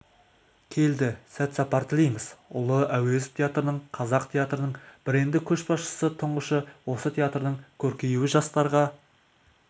келді сәт-сапар тілейміз ұлы әуезов театрының қазақ театрының бренді көшбасшысы тұңғышы осы театрдың көркеюі жастарға